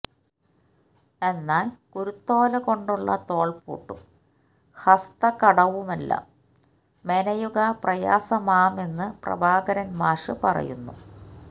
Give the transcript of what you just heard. എന്നാല് കുരുത്തോലകൊണ്ടുള്ള തോള്പൂട്ടും ഹസ്തകടവുമെല്ലാം മെനയുക പ്രയാസമാമെന്ന് പ്രഭാകരന് മാഷ് പറയുന്നു